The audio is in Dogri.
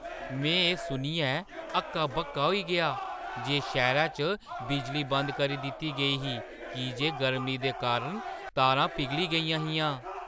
में एह् सुनियै हक्का-बक्का होई गेआ जे शैह्‌रै च बिजली बंद करी दित्ती गेई ही की जे गर्मी दे कारण तारां पिघली गेइयां हियां!